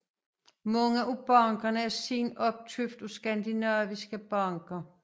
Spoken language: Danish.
Mange af bankerne er siden opkøbt af skadinaviske banker